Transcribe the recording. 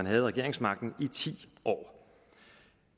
havde regeringsmagten i ti år